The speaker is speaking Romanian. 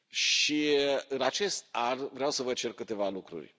Și, în acest an, vreau să vă cer câteva lucruri.